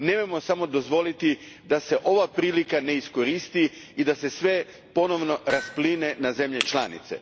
Nemojmo samo dozvoliti da se ova prilika ne iskoristi i da se sve ponovno raspline na zemlje članice.